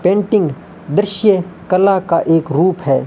Painting दृश्य कला का एक रूप है।